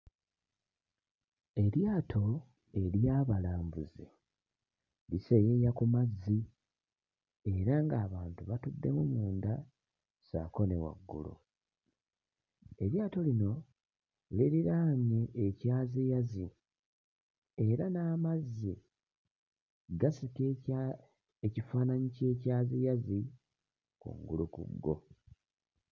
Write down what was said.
Eryato ery'abalambuzi liseeyeeya ku mazzi era ng'abantu batuddemu munda ssaako ne waggulu, eryato lino liriraanye ekyaziyazi era n'amazzi gasika ekya ekifaananyi ky'ekyaziyazi waggulu ku go.